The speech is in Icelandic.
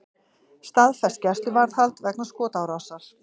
Staðfest gæsluvarðhald vegna skotárásar